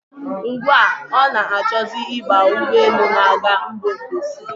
Ugbu a, ọ na-achọzi ịba ụgbọelu na-aga mba ofesi.